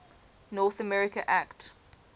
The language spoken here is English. north america act